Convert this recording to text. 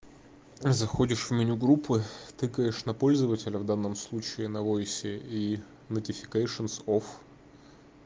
заходишь в меню группы тыкаешь на пользователя в данном случае на войсе и нотификэйшионс оф